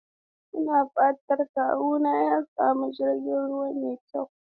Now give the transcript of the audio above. Ina fatan kawuna ya sami jirgin ruwa mai kyau.